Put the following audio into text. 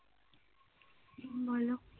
বলো